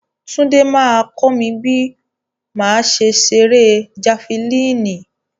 Túndé máa kọ́ mi bí màá ṣe ṣeré jafilínì.